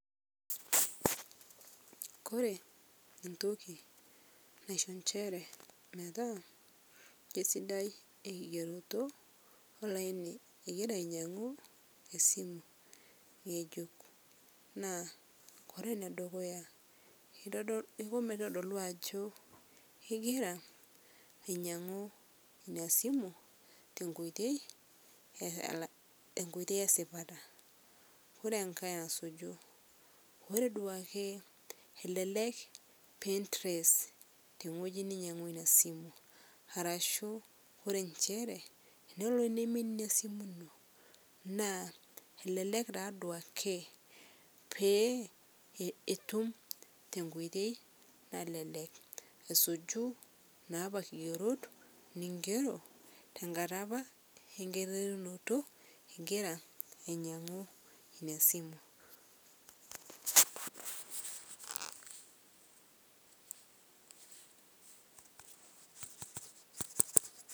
Kore ntoki naisho enshere metaa keisidai eng'eroto olaini egiraa ainyang'u esimu nyejuk naa kore nedukuya ipuo meitodoluu ajoo egiraa ainyang'u inia simu tenkoitei, enkoitei esipataa kore ng'ai asuju ore duake kelelek pii trace teng'oji ninyeng'ua inia simu arashuu ore nchere nolo neimin inia simu inoo naa elelek taa duake peetum te nkoitei nalelek asuju naapa kigerot ning'ero tankata apaa enkiterunoto igiraa ang'amu inia simuu.